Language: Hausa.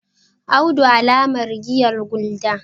audu alamar giyar gulder